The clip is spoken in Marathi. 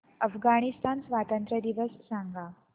अफगाणिस्तान स्वातंत्र्य दिवस सांगा